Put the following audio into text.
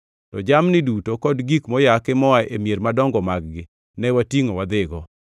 To jamni duto kod gik moyaki moa e mier madongo mag-gi, ne watingʼo wadhigo.